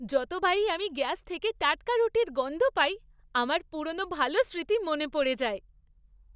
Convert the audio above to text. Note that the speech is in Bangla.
যতবারই আমি গ্যাস থেকে টাটকা রুটির গন্ধ পাই আমার পুরনো ভালো স্মৃতি মনে পড়ে যায়।